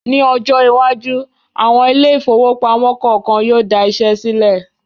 Ní ọjọ iwájú, àwọn ile-ìfowópamó kọọkan yóò da iṣẹ́ sílẹ̀